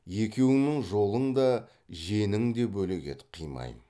екеуіңнің жолың да женің де бөлек еді қимаймын